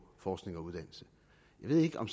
forskning og uddannelse jeg ved ikke om